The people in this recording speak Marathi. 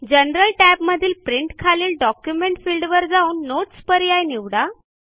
जनरल टॅबमधील प्रिंट खालील डॉक्युमेंट फिल्डवर जाऊन नोट्स पर्याय निवडा